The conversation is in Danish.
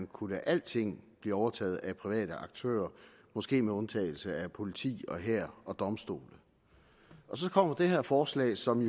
kunne lade alting overtage af private aktører måske med undtagelse af politi hær og domstole så kommer det her forslag som